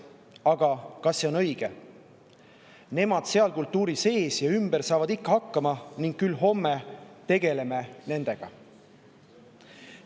Aga kas see on õige suhtumine, et nemad seal kultuuri sees ja ümber saavad ikka hakkama ning küll me homme tegeleme nendega?